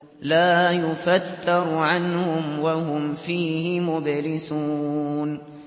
لَا يُفَتَّرُ عَنْهُمْ وَهُمْ فِيهِ مُبْلِسُونَ